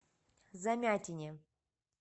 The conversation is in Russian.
замятине